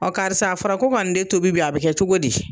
Ɔ karisa a fɔra ko ka nin den tobi bi a bi kɛ togo di